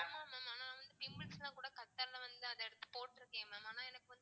ஆமா mam ஆனா வந்து pimples லாம் கூட வந்து வந்து அதை எடுத்து போட்டிருக்கேன் mam ஆனா எனக்கு வந்து